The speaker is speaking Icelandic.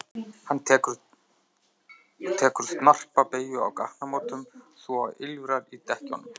Hann tekur tekur snarpa beygju á gatnamótum svo að ýlfrar í dekkjunum.